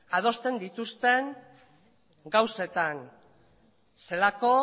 adosten dituzten gauzetan zelako